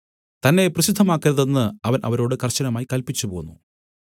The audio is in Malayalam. തന്നെ പ്രസിദ്ധമാക്കരുതെന്ന് അവൻ അവരോട് കർശനമായി കല്പിച്ചുപോന്നു